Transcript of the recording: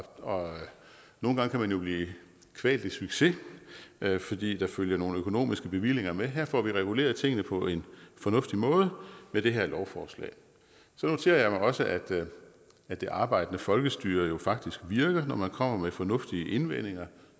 og nogle gange kan man jo blive kvalt i succes fordi der følger nogle økonomiske bevillinger med her får vi reguleret tingene på en fornuftig måde med det her lovforslag så noterer jeg mig også at at det arbejdende folkestyre jo faktisk virker når man kommer med fornuftige indvendinger